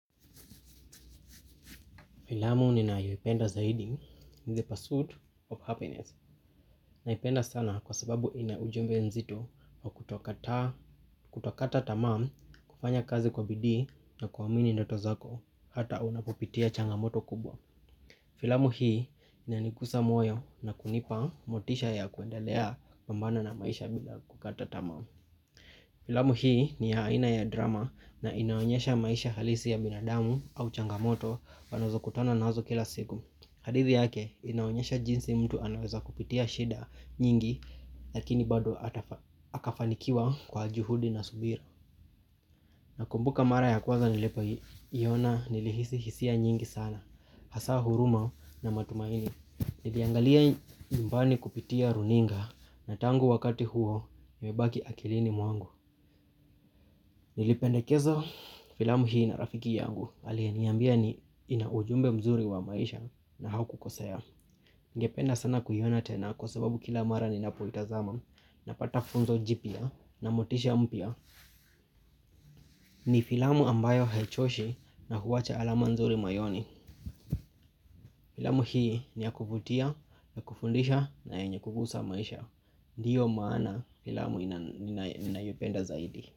Filamu ninayoipenda zaidi in the pursuit of happiness. Naipenda sana kwa sababu ina ujumbe mzito wa kutokata tamaa kufanya kazi kwa bidii na kuamini ndoto zako hata unapopitia changamoto kubwa. Filamu hii inanigusa moyo na kunipa motisha ya kuendelea kupambana na maisha bila kukata tamaa filamu hii ni haina ya drama na inaonyesha maisha halisi ya binadamu au changamoto panazo kutana nazo kila siku. Hadithi yake inaonyesha jinsi mtu anaweza kupitia shida nyingi lakini bado akafanikiwa kwa juhudi na subira. Nakumbuka mara ya kwaza nilipo iyona nilihisi hisia nyingi sana hasa huruma na matumaini. Niliangalia nyumbani kupitia runinga na tangu wakati huo imebaki akilini mwangu. Nilipendekeza filamu hii na rafiki yangu aliniambia inaujumbe mzuri wa maisha na hakukosea. Ningependa sana kuiona tena kwasababu kila mara ninapoitazama napata funzo jipya na motisha mpya. Ni filamu ambayo haichoshi na huwacha alama nzuri mayoni. Filamu hii ni ya kuvutia, ya kufundisha na yenye kugusa maisha. Ndiyo maana filamu ninayopenda zaidi.